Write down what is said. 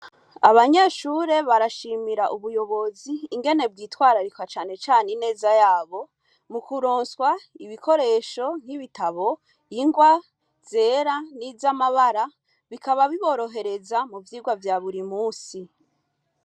Abanyeshure barashimira ubuyobozi ingene bitwararika cane cane ineza yabo mu kuronswa ibikoresho nk'ibitabo, ingwa, zera niz'amabara bikaba biborohereza mu vyigwa vya buri munsi.